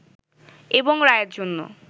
এবং রায়ের জন্য